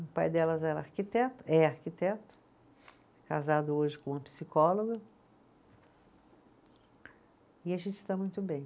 o pai delas era arquiteto, é arquiteto, casado hoje com uma psicóloga e a gente está muito bem